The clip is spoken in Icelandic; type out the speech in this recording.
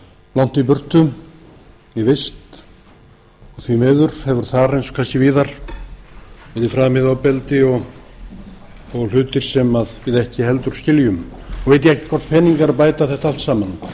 langt í burtu í vist og því miður hefur þar eins og kannski víðar verið framið ofbeldi og hlutir sem við ekki heldur skiljum nú veit ég ekki hvort peningar bæta þetta allt saman